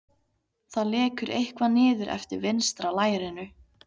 Það lekur eitthvað niður eftir vinstra lærinu.